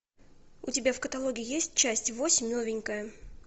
у тебя в каталоге есть часть восемь новенькая